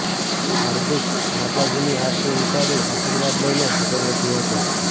હાર્દિક માતાજીની આરતી ઉતારી આશીર્વાદ લઈને આગળ વધ્યો હતો